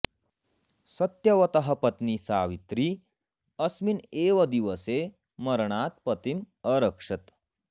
सत्यवतः पत्नी सावित्री अस्मिन् एव दिवसे मरणात् पतिम् अरक्षत्